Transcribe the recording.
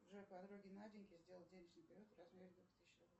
джой подруге наденьке сделай денежный перевод в размере двух тысяч рублей